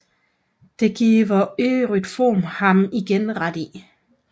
Det giver Euthyfron ham igen ret i